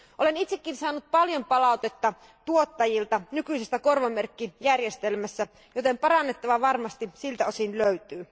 Olen itsekin saanut paljon palautetta tuottajilta nykyisestä korvamerkkijärjestelmästä, joten parannettavaa varmasti siltä osin löytyy.